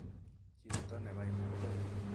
Chepto nebaibai